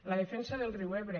la defensa del riu ebre